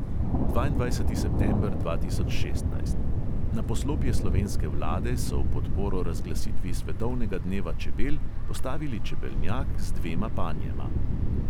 Dvaindvajseti september dva tisoč šestnajst: na poslopje slovenske vlade so v podporo razglasitvi svetovnega dneva čebel postavili čebelnjak z dvema panjema.